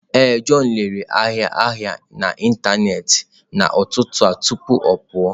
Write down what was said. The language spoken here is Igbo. Ee, john lere ahịa ahịa n'ịntanetị n'ụtụtụ a tupu ọ pụọ.